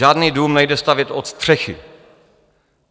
Žádný dům nejde stavět od střechy.